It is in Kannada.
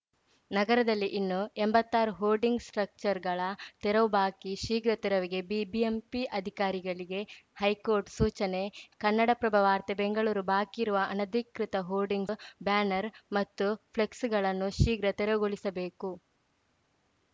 ನಗರದಲ್ಲಿ ಇನ್ನೂ ಎಂಬತ್ತಾರು ಹೋರ್ಡಿಂಗ್‌ ಸ್ಟ್ರಕ್ಚರ್‌ಗಳ ತೆರವು ಬಾಕಿ ಶೀಘ್ರ ತೆರವಿಗೆ ಬಿಬಿಎಂಪಿ ಅಧಿಕಾರಿಗಳಿಗೆ ಹೈಕೋರ್ಟ್‌ ಸೂಚನೆ ಕನ್ನಡಪ್ರಭ ವಾರ್ತೆ ಬೆಂಗಳೂರು ಬಾಕಿಯಿರುವ ಅನಧಿಕೃತ ಹೋರ್ಡಿಂಗ್ಸ್‌ ಬ್ಯಾನರ್‌ ಮತ್ತು ಫ್ಲೆಕ್ಸ್‌ಗಳನ್ನು ಶೀಘ್ರ ತೆರವುಗೊಳಿಸಬೇಕು